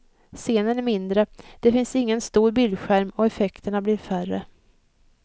Scenen är mindre, det finns ingen stor bildskärm och effekterna blir färre.